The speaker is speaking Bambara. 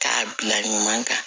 K'a bila ɲuman kan